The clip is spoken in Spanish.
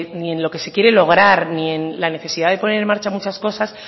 ni en lo que se quiere lograr ni en la necesidad de poner en marcha muchas cosas